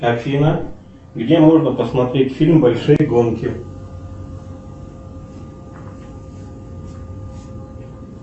афина где можно посмотреть фильм большие гонки